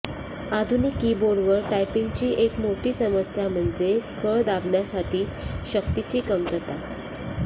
आधुनिक कीबोर्डवर टायपिंगची एक मोठी समस्या म्हणजे कळ दाबण्यासाठी शक्तीची कमतरता